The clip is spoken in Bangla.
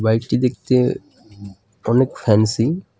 বাইকটি দেখতে উম অনেক ফ্যান্সি .